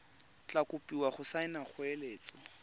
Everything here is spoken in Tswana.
tla kopiwa go saena kgoeletso